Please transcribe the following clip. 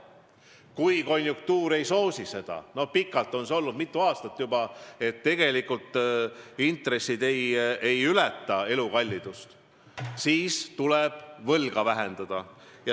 Kui konjunktuur seda ei soosi – pikalt on olnud nii, mitu aastat juba, et intressid ei ületa elukallidust –, siis tuleb võlga vähendada.